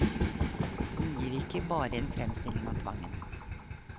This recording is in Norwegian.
Hun gir ikke bare en fremstilling av tvangen.